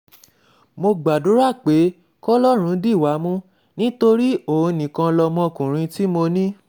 mo gbàdúrà pé kọlọ́run dì wá mú nítorí òun nìkan lọmọkùnrin tí mo ní